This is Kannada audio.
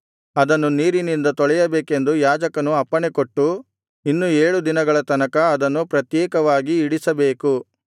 ಅದನ್ನು ನೀರಿನಿಂದ ತೊಳೆಯಬೇಕೆಂದು ಯಾಜಕನು ಅಪ್ಪಣೆಕೊಟ್ಟು ಇನ್ನು ಏಳು ದಿನಗಳ ತನಕ ಅದನ್ನು ಪ್ರತ್ಯೇಕವಾಗಿ ಇಡಿಸಬೇಕು